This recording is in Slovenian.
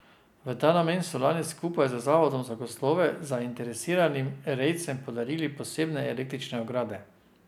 V ta namen so lani skupaj z zavodom za gozdove zainteresiranim rejcem podarili posebne električne ograde.